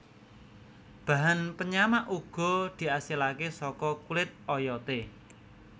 Bahan penyamak uga diasilake saka kulit oyote